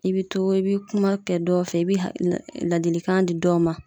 I bi to i bi kuma kɛ dɔ fɛ i bi ladilikan di dɔw ma